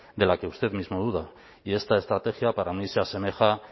de la que usted mismo duda y esta estrategia para mí se asemeja